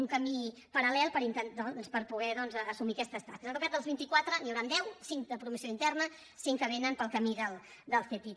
un camí paral·lel per intentar doncs per poder assumir aquestes tasques en total dels vint i quatre n’hi hauran deu cinc de promoció interna cinc que vénen pel camí del ctiti